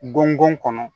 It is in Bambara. Gɔngɔn kɔnɔ